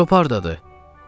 Cop hardadır?